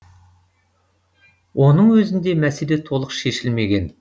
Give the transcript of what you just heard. оның өзінде мәселе толық шешілмеген